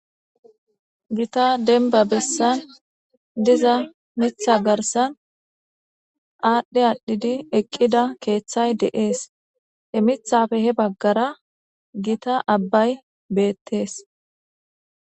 gita denba bessan diza mitha garsan aadhdhe aadhdhidi eqqida keeththay de7ees he mithafe he baggara gita abbay beettees